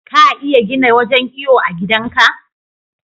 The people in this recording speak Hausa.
ka iya gina wajan iyo a gidan ka